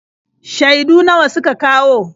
Shaidu nawa suka kawo?